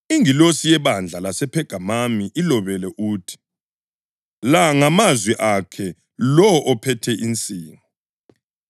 “Ingilosi yebandla lasePhegamami ilobele uthi: La ngamazwi akhe lowo ophethe insingo.